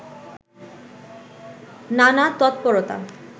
নানা তৎপরতা